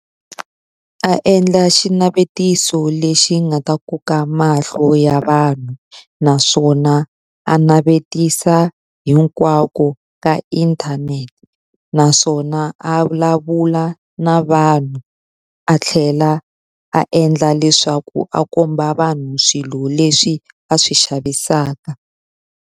A endla xinavetiso lexi nga ta koka mahlo ya vanhu naswona a navetisa hinkwako ka inthanete. Naswona a vulavula na vanhu, a tlhela a endla leswaku a komba vanhu swilo leswi a swi xavisaka.